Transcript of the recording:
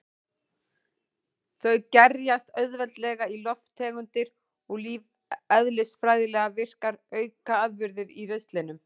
Þau gerjast auðveldlega í lofttegundir og lífeðlisfræðilega virkar aukaafurðir í ristlinum.